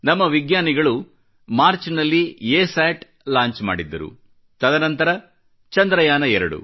ನಮ್ಮ ವಿಜ್ಞಾನಿಗಳು ಮಾರ್ಚ್ನಲ್ಲಿ ಅಸತ್ ಲಾಂಚ್ ಮಾಡಿದ್ದರು ತದನಂತರ ಚಂದ್ರಯಾನ 2